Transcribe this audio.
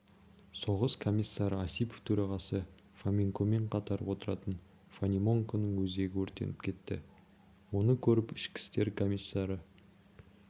соғыс комиссары осипов төрағасы фоменкомен қатар отыратын фонеменконың өзегі өртеніп кетті оны көріп ішкі істер комиссары